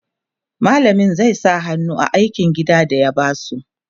mallamin su zai sa hannu a aikin gida da ya basu